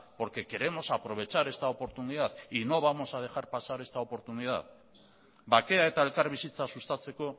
porque queremos aprovechar esta oportunidad y no vamos a dejar pasar esta oportunidad bakea eta elkarbizitza sustatzeko